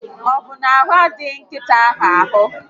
Ọbụ na ahụ adịghị nkịta ahụ?